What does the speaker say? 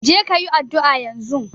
Je ka yi addu'a yanzun!